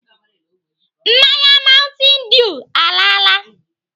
Mmanya mountain dew alaala.